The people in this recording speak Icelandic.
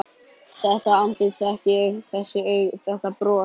Þetta andlit þekki ég: Þessi augu, þetta bros.